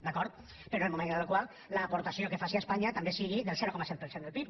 d’acord però en el moment en el qual l’aportació que faci espanya també sigui del zero coma set per cent del pib